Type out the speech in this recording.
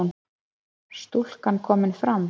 Stúlka komin fram